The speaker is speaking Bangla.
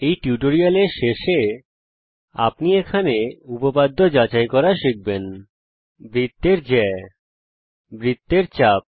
এই টিউটোরিয়ালের শেষে আপনি উপপাদ্য যাচাই করা শিখবেন বৃত্তের জ্যা বৃত্তের চাপ